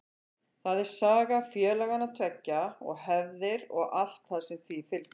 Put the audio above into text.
Það er saga félagana tveggja og hefðir og allt sem því fylgir.